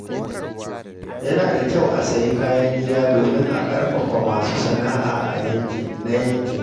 Yana da kyau a sayi kayan gida domin a ƙarfafa masu sana’a na yankin.